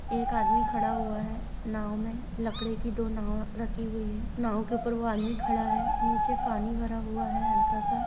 एक आदमी खड़ा हुआ है नाव में। लकड़े की दो नाव रखी हुई है। नाव के ऊपर वो आदमी खड़ा है। नीचे फानी भरा हुआ है। हल्का सा --